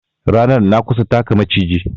Ranar na kusa taka Maciji